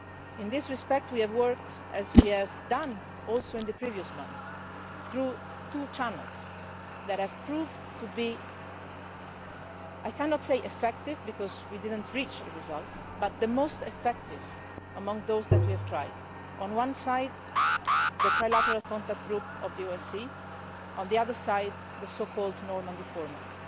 In this respect we have worked, as we had also done in previous months, through two channels that have proved to be I cannot say effective because we did not reach a result, but the most effective among those that we have tried on the one side the Trilateral Contact Group of the OSCE, and on the other side the so called Normandy format,